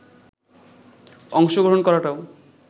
অংশগ্রহণ করাটাও